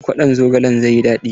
Kwaɗon zogalen zai yi daɗi.